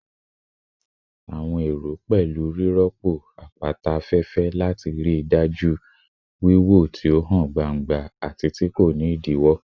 Awọn ero pẹlu rirọpo apata afẹfẹ lati rii daju wiwo ti o han gbangba ati ti ko ni idiwọ